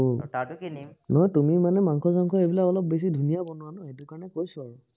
নহয় তুমি মানে মাংস চাংস এইবিলাক অলপ বেছি ধুনীয়া বনোৱা ন, সেইটো কাৰনে কৈছো আৰু।